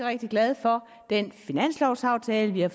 rigtig glad for den finanslovaftale vi har